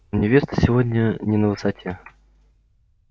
невеста сегодня не на высоте